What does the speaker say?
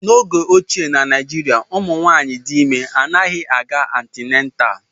N'oge ochie, Na Naịjirịa, ụmụ nwanyị dị ime anaghị aga antịnetal